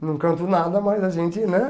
Não canto nada, mas a gente, né?